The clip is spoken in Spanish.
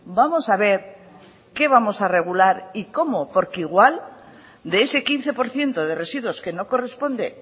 vamos a ver qué vamos a regular y cómo porque igual de ese quince por ciento de residuos que no corresponde